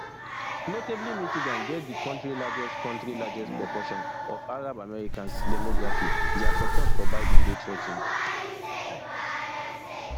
notably michigan get di kontri largest kontri largest proportion ofarabamericans demography dia support for biden dey threa ten ed